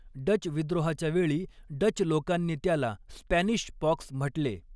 Dutch विद्रोहाच्या वेळी Dutch लोकांनी त्याला 'स्पॅनिश पॉक्स' म्हटले.